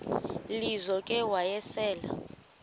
lizo ke wayesel